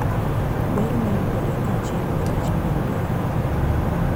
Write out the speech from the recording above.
Ber ma yudore kaachiel gi rach ma yudore.